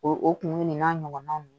O o kunumunu nin n'a ɲɔgɔnnaw